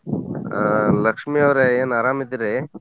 ಅ ಲಕ್ಷ್ಮೀ ಯವರೇ ಏನ್ ಅರಾಮ್ ಅದಿರೀ?